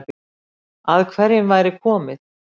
Að hverjum væri komið